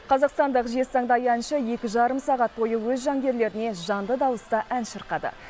қазақстандық жезтаңдай әнші екі жарым сағат бойы өз жанкүйерлеріне жанды дауыста ән шырқады